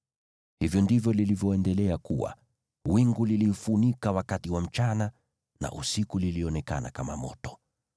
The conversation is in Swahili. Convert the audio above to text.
Hivyo ndivyo lilivyoendelea kuwa; wingu liliifunika wakati wa mchana, na usiku lilionekana kama moto.